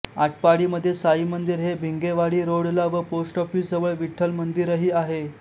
आटपाडीमध्ये साई मंदिर हे भिंगेवाडी रोडला व पोस्ट ऑफिस जवळ विठ्ठल मंदिरही आहे